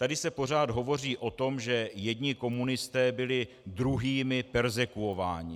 Tady se pořád hovoří o tom, že jedni komunisté byli druhými perzekvováni.